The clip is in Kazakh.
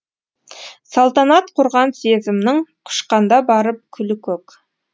салтанат құрған сезімнің құшқанда барып күлі көк